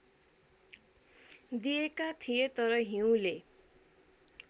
दिएका थिए तर हिउँले